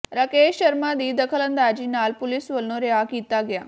ਰਾਕੇਸ਼ ਸ਼ਰਮਾ ਦੀ ਦਖਲਅੰਦਾਜ਼ੀ ਨਾਲ ਪੁਲੀਸ ਵਲੋਂ ਰਿਹਾਅ ਕੀਤਾ ਗਿਆ